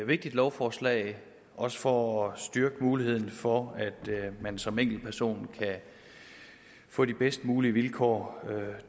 vigtigt lovforslag også for at styrke muligheden for at man som enkeltperson kan få de bedst mulige vilkår